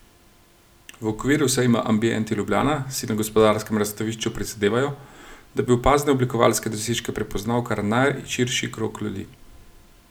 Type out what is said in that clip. V okviru sejma Ambient Ljubljana si na Gospodarskem razstavišču prizadevajo, da bi opazne oblikovalske dosežke prepoznal kar najširši krog ljudi.